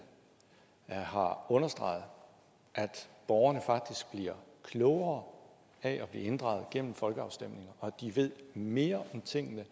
har understreget at borgerne faktisk bliver klogere af at blive inddraget gennem folkeafstemninger og at de ved mere om tingene